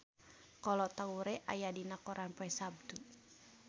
Kolo Taure aya dina koran poe Saptu